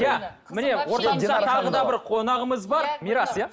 иә міне ортамызда тағы да бір қонағымыз бар мирас иә